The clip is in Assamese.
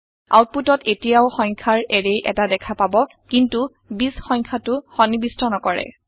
আওতপুটত এটিয়াও সংখ্যাৰ এৰে এটা দেখা পাব কিন্তু ২০ সংখ্যাটো সন্নিবিষ্ট নকৰে